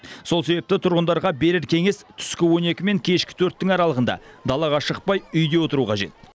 сол себепті тұрғындарға берер кеңес түскі он екі мен кешкі төрттің аралығында далаға шықпай үйде отыру қажет